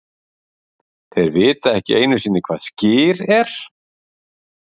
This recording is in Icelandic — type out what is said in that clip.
Þeir vita ekki einusinni hvað Skyr ER?!